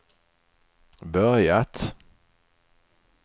börjat